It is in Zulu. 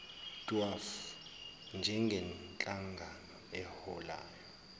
dwaf njengenhlangano eholayo